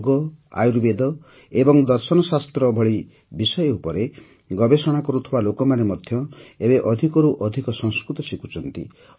ଯୋଗ ଆୟୁର୍ବେଦ ଏବଂ ଦର୍ଶନଶାସ୍ତ୍ର ଭଳି ବିଷୟ ଉପରେ ଗବେଷଣା କରୁଥିବା ଲୋକମାନେ ଏବେ ଅଧିକରୁ ଅଧିକ ସଂସ୍କୃତ ଶିଖୁଛନ୍ତି